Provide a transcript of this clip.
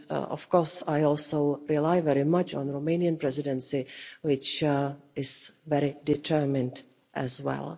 Of course, I also rely very much on the Romanian Presidency, which is very determined as well.